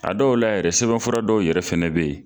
A dɔw la yɛrɛ sɛbɛnfura dɔw yɛrɛ fɛnɛ bɛ yen.